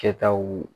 Kɛtaw